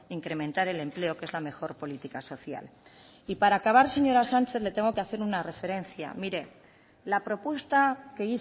incrementar el empleo que es la mejor política social y para acabar señora sánchez le tengo que hacer una referencia mire la propuesta que